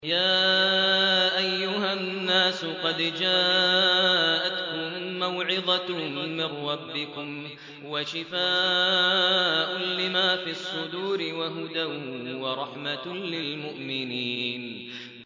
يَا أَيُّهَا النَّاسُ قَدْ جَاءَتْكُم مَّوْعِظَةٌ مِّن رَّبِّكُمْ وَشِفَاءٌ لِّمَا فِي الصُّدُورِ وَهُدًى وَرَحْمَةٌ لِّلْمُؤْمِنِينَ